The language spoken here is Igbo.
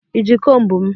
Ị ji komb m?